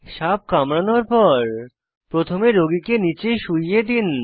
সাপ কামড়ানোর পর প্রথমে রোগীকে নীচে শুয়িয়ে দিন